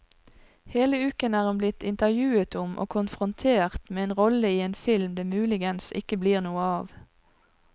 Hele uken er hun blitt intervjuet om og konfrontert med en rolle i en film det muligens ikke blir noe av.